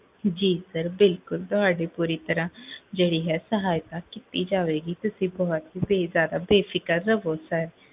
ਜੀ ਸਰ ਬਿਲਕੁਲ, ਤੁਹਾਡੀ ਪੂਰੀ ਤਰਹ ਜੇਹੜੀ ਹੈ ਸਹਾਇਤਾ ਕੀਤੀ ਜਾਵੇਗੀ, ਤੁਸੀਂ ਬੋਹੋਤ ਬੇਫਿਕਰ ਰਹ੍ਵੋ